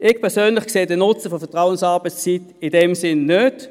Ich persönlich sehe den Nutzen der Vertrauensarbeitszeit in diesem Sinn nicht.